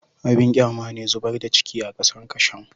Abin kyama ne zubar da ciki a kasar kasham